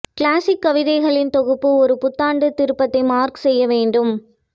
classic கவிதைகளின் தொகுப்பு ஒரு புத்தாண்டு திருப்பத்தை மார்க் செய்ய வேண்டும்